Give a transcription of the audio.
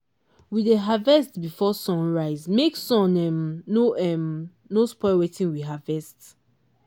we dey harvest before sun rise make sun um no um no spoil wetin we harvest.